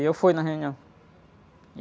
E eu fui na reunião.